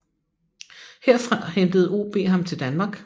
Herfra hentede OB ham til Danmark